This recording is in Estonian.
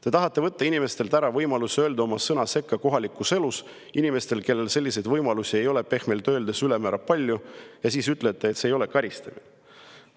Te tahate võtta inimestelt ära võimaluse öelda sõna sekka kohalikus elus, inimestelt, kellel selliseid võimalusi ei ole pehmelt öeldes ülemäära palju, ja siis ütlete, et see ei ole karistamine.